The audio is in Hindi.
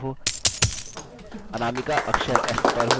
अनामिका अक्षर s पर हो